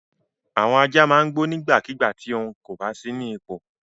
Àwọn ajá máa ń gbó nígbàkigbà tí ohun kò bá sí nípò.